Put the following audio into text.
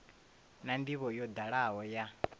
na ndivho yo dalaho ya